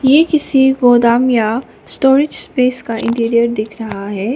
ये किसी गोडाउन या स्टोरेज स्पेस का इंटीरियर दिख रहा है।